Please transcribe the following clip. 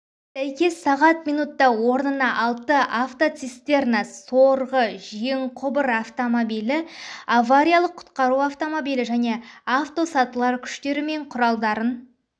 сәйкес сағат минутта орнына алты автоцистерна сорғы-жеңқұбыр автомобилі авариялық-құтқару автомобилі және автосатылар күштері мен құралдарын